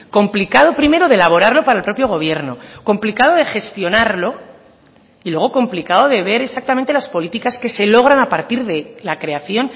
complicado primero de elaborarlo para el propio gobierno complicado de gestionarlo y luego complicado de ver exactamente las políticas que se logran a partir de la creación